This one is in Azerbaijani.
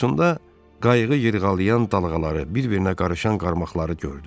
Yuxusunda qayıqı yırğalayan dalğaları, bir-birinə qarışan qarmaqları gördü.